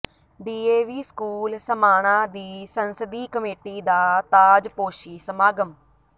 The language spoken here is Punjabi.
ਡੀਏਵੀ ਸਕੂਲ ਸਮਾਣਾ ਦੀ ਸੰਸਦੀ ਕਮੇਟੀ ਦਾ ਤਾਜਪੋਸ਼ੀ ਸਮਾਗਮ